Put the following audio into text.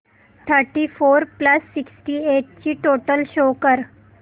thirty four plus sixty eight ची total show कर